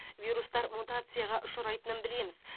вирустар мутацияға ұшырайтынын білеміз